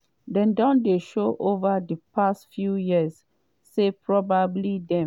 “dem don shown ova di past few years say probably dem